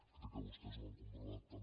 crec que vostès ho han comprovat també